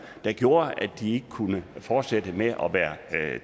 der gjorde at de ikke kunne fortsætte med at være